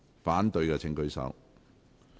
反對的請舉手。